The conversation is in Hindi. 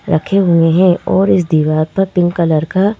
रखे हुए हैं और इस दीवार पर पिंक कलर का--